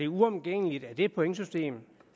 uomgængeligt at det pointsystem